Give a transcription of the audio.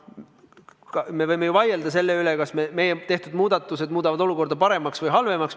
Me võime ju vaielda selle üle, kas meie tehtud muudatused muudavad olukorda paremaks või halvemaks.